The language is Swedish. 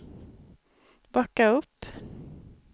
backa upp